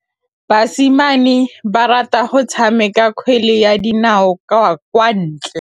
Basimane ba rata go tshameka kgwele ya dinaô kwa ntle.